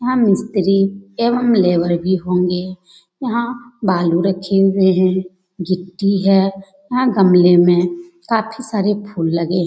यहाँ मिस्त्री एवं लेबर भी होंगे। यहाँ बालू रखे हुए हैं गिट्टी है। यहाँ गमले में काफी सारे फूल लगे --